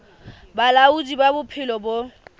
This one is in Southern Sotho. ba bolaodi ba bophelo bo